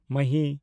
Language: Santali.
ᱢᱟᱦᱤ